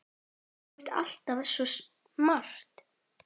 Þú ert alltaf svo smart.